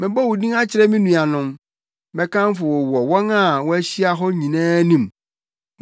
Mɛbɔ wo din akyerɛ me nuanom; mɛkamfo wo wɔ wɔn a wɔahyia hɔ no nyinaa anim.